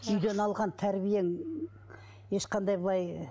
үйден алған тәрбиең ешқандай былай